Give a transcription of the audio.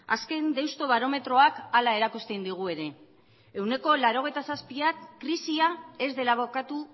azken deustobarometroak hala erakusten digu ere ehuneko laurogeita zazpiak krisia ez dela bukatu